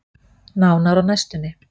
Nánar á næstunni.